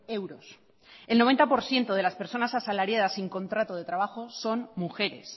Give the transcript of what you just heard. euros el noventa por ciento de las personas asalariadas sin contrato de trabajo son mujeres